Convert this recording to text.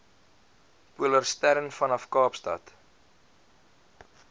polarstern vanaf kaapstad